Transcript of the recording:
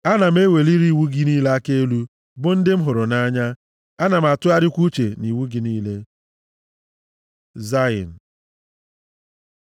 Ana m eweliri iwu gị niile aka elu, bụ ndị m hụrụ nʼanya, ana m atụgharịkwa uche nʼiwu gị niile. ז Zayin